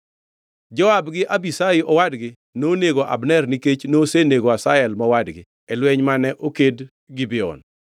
Joab gi Abishai owadgi nonego Abner nikech nosenego Asahel mowadgi e lweny mane oked Gibeon.